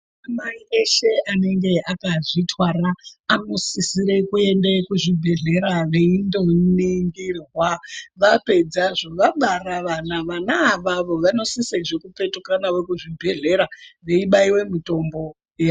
Madzimai eshe anenga akazvitwara, anosisire kuende kuzvibhedhlera veindoningirwa. Vapedzazvo, vabara vana, vana avavo vanosisezve kupetuka navo kuchibhedhlera veibaiwe mitombo yavo.